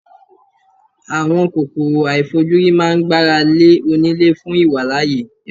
Àwọn kòkòrò àìfojúrí máa ń gbára lé oní lé fún ìwàlàyé.